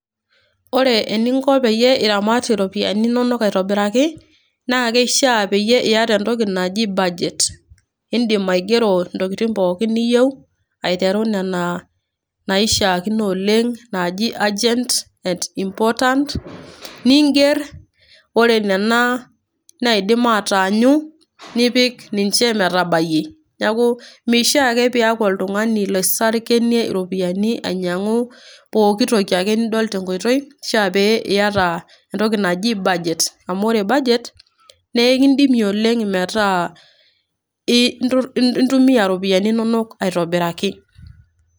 ore eninko peyie iramat iropiyiani inonok aitobiraki, naa keishaa pee iyata entoki naji budget. idim aigero intokitin pookin niyieu, aiteru nena naishaakino oleng naji urgent important miger ore nena naidim ataanyu, nipik ninche metabayie, neeku meishaa ake pee iyaku oltungani loisarkinyie iropiyiani ,ainyiangu pooki toki ake nidol tenkoitoi. kishaa ake pee iyata entoki naji budget amu ore budget[cs.na ekidimie oleng metaa intumia iropiyiani inonok aitobiraki.